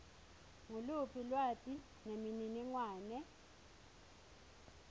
nguluphi lwati nemininingwane